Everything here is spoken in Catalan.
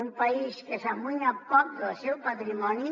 un país que s’amoïna poc del seu patrimoni